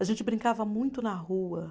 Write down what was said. A gente brincava muito na rua.